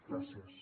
gràcies